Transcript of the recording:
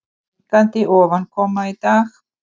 Minnkandi ofankoma í dag